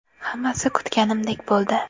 Hammasi kutganimdek bo‘ldi.